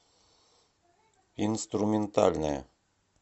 инструментальная